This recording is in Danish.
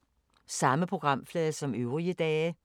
Samme programflade som øvrige dage